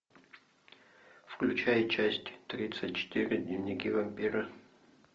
включай часть тридцать четыре дневники вампира